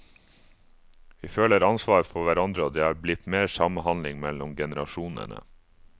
Vi føler ansvar for hverandre, og det er blitt mer samhandling mellom generasjonene.